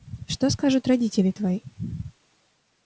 что скажут родители твои